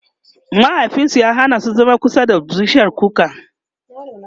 mahaifinsu ya Hana su zama kusa da bishiyar kuka